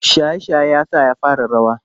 Shaye-shaye ya sa ya fara rawa.